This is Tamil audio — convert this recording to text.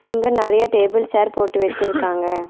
இங்க நறைய டேபிள் சேர் போட்டு வெச்சிருக்காங்க.